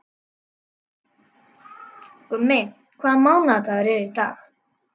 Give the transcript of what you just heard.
Gummi, hvaða mánaðardagur er í dag?